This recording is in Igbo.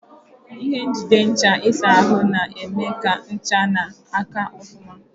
Ihe njide ncha ịsa ahụ na-eme ka ncha na-aka ofuma.